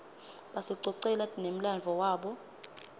basicocela nemladvo wabo